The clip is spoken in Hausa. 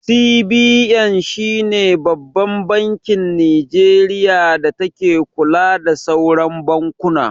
CBN shine Babban bankin Nijeriya da take kula da sauran bankuna